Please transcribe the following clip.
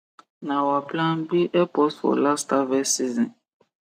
na our plan b help us for last harvest season